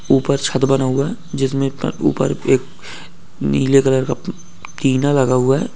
ऊपर छत बना हुआ है जिसमें क-ऊपर एक नीले कलर का किना लगा हुआ है।